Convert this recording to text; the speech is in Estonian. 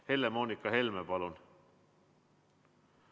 Helle-Moonika Helme, palun!